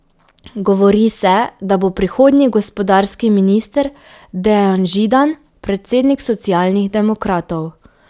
Govori se, da bo prihodnji gospodarski minister Dejan Židan, predsednik Socialnih demokratov.